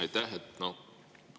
Aitäh!